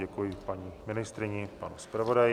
Děkuji paní ministryni, panu zpravodaji.